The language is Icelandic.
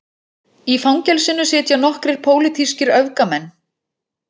Í fangelsinu sitja nokkrir pólitískir öfgamenn